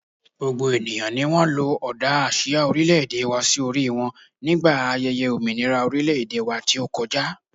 gbogbo eniyan ni won lo oda asia orileede wa si ori won mini aye ominira orileede wa ti o koja